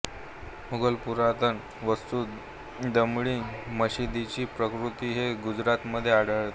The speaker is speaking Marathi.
मुगल पुरातन वास्तू दमडी मशिदीची प्रतिकृती आहे गुजरातमध्ये आढळते